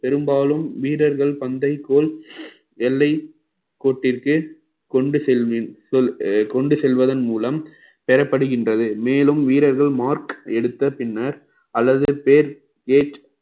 பெரும்பாலும் வீரர்கள் பந்தைக்கோல் எல்லை கோட்டிற்கு கொண்டு செல்வேன் கொ~ அஹ் கொண்டு செல்வதன் மூலம் பெறப்படுகின்றது மேலும் வீரர்கள் mark எடுத்த பின்னர் அல்லது பேர் gate